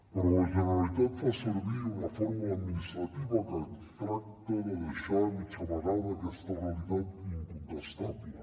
però la generalitat fa servir una fórmula administrativa que tracta de deixar mig amagada aquesta realitat incontestable